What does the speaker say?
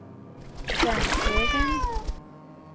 Svenshögen